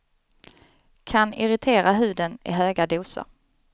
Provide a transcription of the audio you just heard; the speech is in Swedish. Kan irritera huden i höga doser.